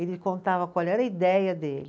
Ele contava qual era a ideia dele.